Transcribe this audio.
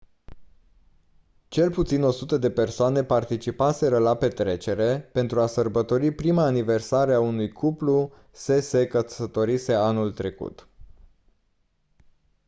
cel puțin 100 de persoane participaseră la petrecere pentru a sărbători prima aniversare a unui cuplu se se căsătorise anul trecut